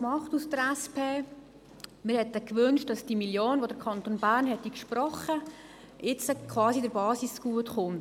Wir hätten uns gewünscht, dass die Million, die der Kanton Bern gesprochen hätte, quasi der Basis zugutekäme.